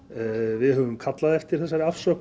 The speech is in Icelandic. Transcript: við höfum kallað eftir þessari afsögn